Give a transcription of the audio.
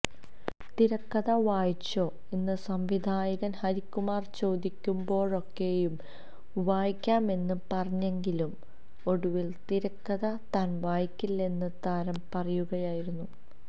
തിരക്കഥ വായിച്ചോ എന്ന് സംവിധായകൻ ഹരികുമാര് ചോദിക്കുമ്പോഴൊക്കെയും വായിക്കാമെന്ന് പറഞ്ഞെങ്കിലും ഒടുവില് തിരക്കഥ താന് വായിക്കുന്നില്ലെന്ന് താരം പറയുകയായിരുന്നു